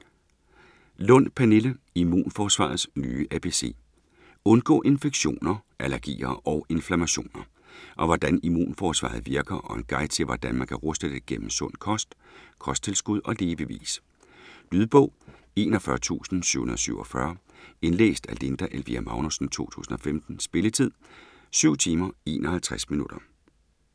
Lund, Pernille: Immunforsvarets nye ABC Undgå infektioner, allergier og inflammationer. Om hvordan immunforsvaret virker og en guide til hvordan man kan ruste det gennem sund kost, kosttilskud og levevis. Lydbog 41747 Indlæst af Linda Elvira Magnussen, 2015. Spilletid: 7 timer, 51 minutter.